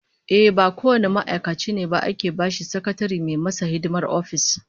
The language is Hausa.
Ehh, ba kowane ma'aikaci ne ba ake bashi sakatare mai masa hidimar office